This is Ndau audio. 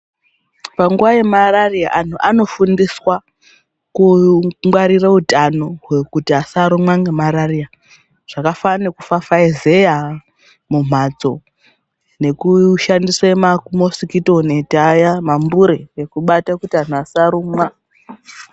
Panguwa yemarariya antu anofundiswa kungwarira hutano kuti asarumwa nemararia zvakafanana nekufafaizeya mumbatso nekushandisa mamosikito neti ayaya mambure asabatwa kuti antu asarumwa.